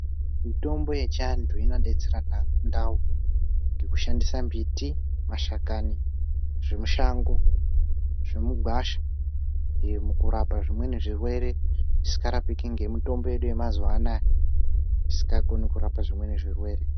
Mitombo yechiantu inodetsera mundau dzekushandusa mbiti mashakani zvekushando zvemugwasha mukurapa zvimweni zvirwere zvsiingaraoiki nezvimweni zvirwere